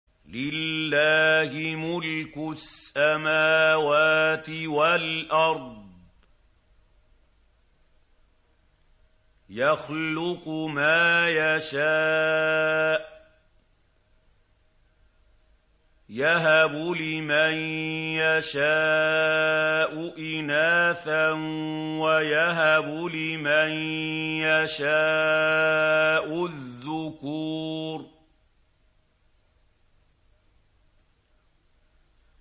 لِّلَّهِ مُلْكُ السَّمَاوَاتِ وَالْأَرْضِ ۚ يَخْلُقُ مَا يَشَاءُ ۚ يَهَبُ لِمَن يَشَاءُ إِنَاثًا وَيَهَبُ لِمَن يَشَاءُ الذُّكُورَ